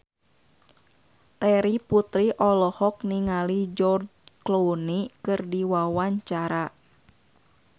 Terry Putri olohok ningali George Clooney keur diwawancara